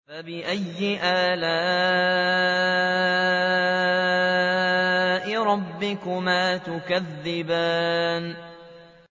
فَبِأَيِّ آلَاءِ رَبِّكُمَا تُكَذِّبَانِ